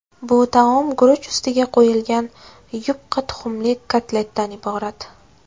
Bu taom guruch ustiga qo‘yilgan yupqa tuxumli kotletdan iborat.